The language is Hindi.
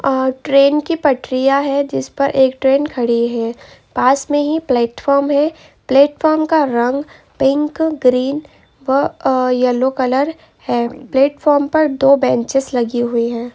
अ ट्रेन की पटरियां है जिस पर एक ट्रेन खड़ी है पास मे ही प्लेटफॉर्म है प्लेटफॉर्म का रंग पिंक ग्रीन वह अ येलो कलर है प्लेटफार्म पर दो बेंचेस लगी हुई है।